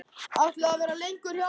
Ætlarðu að vera lengi hjá honum?